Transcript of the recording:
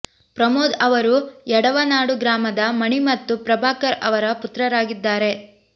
ಪ್ರಮೋದ್ ಅವರು ಯಡವನಾಡು ಗ್ರಾಮದ ಮಣಿ ಮತ್ತು ಪ್ರಭಾಕರ್ ಅವರ ಪುತ್ರರಾಗಿದ್ದಾರೆ